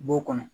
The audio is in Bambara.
B'o kɔnɔ